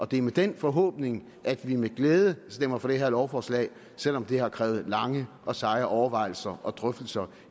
det er med den forhåbning at vi med glæde stemmer for det her lovforslag selv om det har krævet lange og seje overvejelser og drøftelser